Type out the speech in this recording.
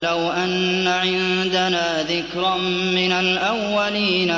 لَوْ أَنَّ عِندَنَا ذِكْرًا مِّنَ الْأَوَّلِينَ